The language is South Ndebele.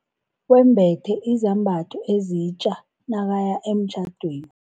Wembethe izambatho ezitja nakaya emtjhadweni.